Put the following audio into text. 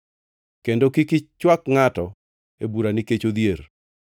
kendo kik ichwak ngʼato e bura nikech odhier.